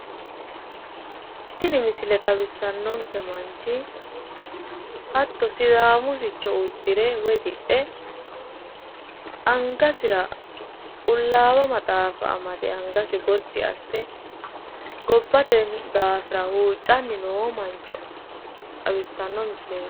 Tini misile xawissannonke manchi hatto sidaamu sicco uddire woy diphe angasira qullawa maxaafa amade angasi giti asse gobbasi daafira huuccanni noo mancho xawissanno misileeti.